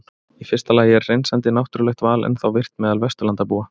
Í fyrsta lagi er hreinsandi náttúrulegt val ennþá virkt meðal Vesturlandabúa.